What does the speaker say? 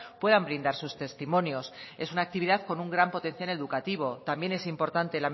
puedan brindar sus testimonios es una actividad con un gran potencial educativo también es importante